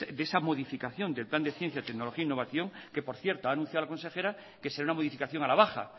de esa modificación del plan de ciencia tecnología e innovaciones que por cierto ha anunciado la consejera que será una modificación a la baja